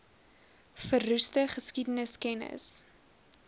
verroeste geskiedenis kennis